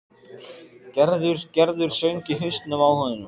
Gerður, Gerður söng í hausnum á honum.